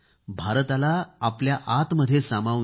भारताला आपल्या आतमध्ये सामावून घ्या